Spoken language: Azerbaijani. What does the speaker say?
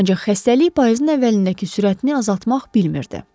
Ancaq xəstəlik payızın əvvəlindəki sürətini azaltmaq bilmirdi.